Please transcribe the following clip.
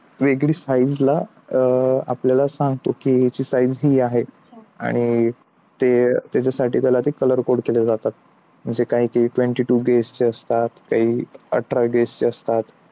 वेगळे size ला आपल्याला सांगतो की याची size ही आहे आणि ते त्याच्यासाठी त्याला color coat केले जातात काही काही twenty-two gauge असतात काही अठरा gauge असतात.